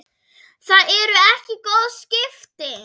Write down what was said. Það eru ekki góð skipti.